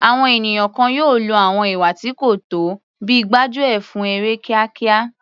Àwọn ènìyàn kan yóò lo àwọn ìwà tí kò tọ́ bíi gbájú ẹ̀ fún èrè kíákíá.